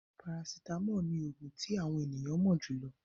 Parasitamọ́ọ̀ ní òògùn tí àwọn ènìyàn mo jùlọ.